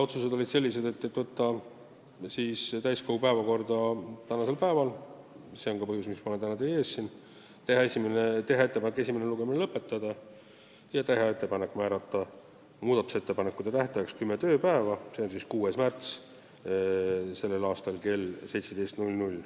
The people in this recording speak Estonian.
Otsused olid sellised: saata eelnõu täiskogu päevakorda tänaseks päevaks – see on ka põhjus, miks ma olen täna siin teie ees –, teha ettepanek esimene lugemine lõpetada ja teha ettepanek määrata muudatusettepanekute esitamise tähtajaks kümme tööpäeva, s.o 6. märts kell 17.